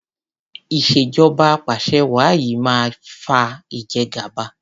ìṣèjọba apàṣẹwàá yìí máa fa ìjẹgàba.